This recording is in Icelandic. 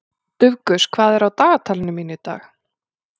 Dufgus, hvað er á dagatalinu mínu í dag?